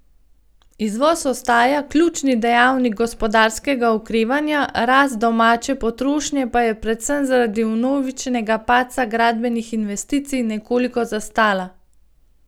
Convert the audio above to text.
Izvoz ostaja ključni dejavnik gospodarskega okrevanja, rast domače potrošnje pa je predvsem zaradi vnovičnega padca gradbenih investicij nekoliko zastala.